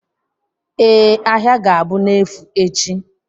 Ee, ahịa ga-abụ n'efu echi